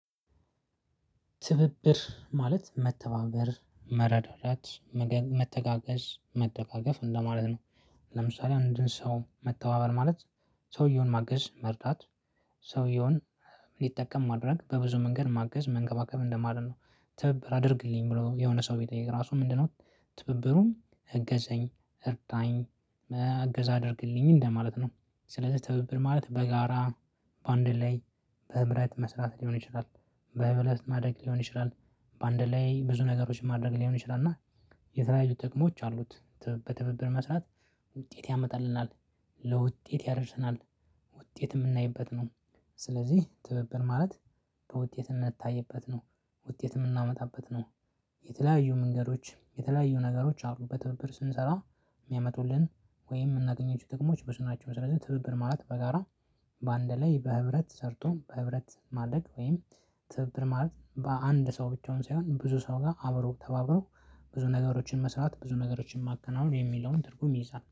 ትብብር ማለት መተባበር መረዳዳት መተጋገዝ መደጋገፍ እንደማለት ነው። ለምሳሌ አንድን ሰው መተባበር ማለት ሰውየውን ማገዝ መርዳት። ሊጠቀም ማድረግ በብዙ መንገድ ማገዝ መንከባከብ እንደማለት ነው። ትብብር አድርግልኝ ብሎ የሆነ ሰው ቢጠይቅ ራሱ ምንድነው? ትብብሩን እገዘኝ እርዳኝ እገዛ አድርግልኝ እንደማለት ነው። ስለዚህ ትብብር ማለት በጋራ በአንድ ላይ በህብረት መስራት ሊሆን ይችላል። በህብረት ማደግ ሊሆን ይችላል። በአንድ ላይ ብዙ ነገሮችን ማድረግ ሊሆን ይችላል እና የተለያዩ ጥቅሞች አሉት። በትብብር መስራት ውጤት ያመጣልናል ለውጤት ያደረሰናል ውጤት ምናይበት ነው። ስለዚህ ትብብር ማለት በውጤትነት ታይበት ነው ውጤት የምናመጣበት ነው። የተለያዩ መንገዶች የተለያዩ ነገሮች አሉ በትብብር ስንሰራ ሚያመጡልን ወይም ምናገኘው ጥቅሞች ብዙ ናቸው። ስለዚህ ትብብር ማለት በጋራ በአንድ ላይ በህብረት ሰርቶ በህብረት ማደግ ወይም ትብብር ማለት በአንድ ሰው ብቻውን ሳይሆን ብዙ ሰው ጋር አብሮ ተባብሮ ብዙ ነገሮችን መስራት ብዙ ነገሮችን ማከናወን የሚለውን ትርጉም ይይዛል